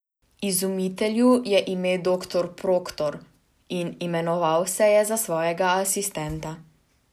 Izumitelju je ime doktor Proktor in imenoval me je za svojega asistenta.